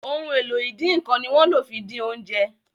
Ohun èlò ìdínkán ni wón ló fí dín oúnjẹ.